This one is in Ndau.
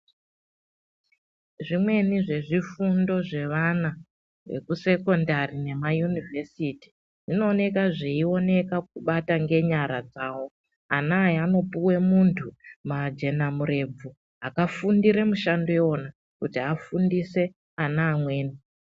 Zvimweni zvezvifundo zvevana zveku "sekondari" nema "yunivhesiti zvinowoneka zviyioneka kakubata ngenyara dzawo. Ana aya, anopiwe muntu majenamurebvu akafundire mushando kuto afundise ana.